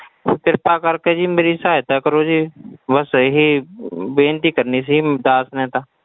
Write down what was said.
ਕਿਰਪਾ ਕਰਕੇ ਜੀ ਮੇਰੀ ਸਹਾਇਤਾ ਕਰੋ ਜੀ ਬਸ ਇਹੀ ਬੇਨਤੀ ਕਰਨੀ ਸੀ ਬਸ ਮੈਂ ਤਾਂ।